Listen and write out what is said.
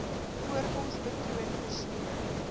voorkoms patroon versiering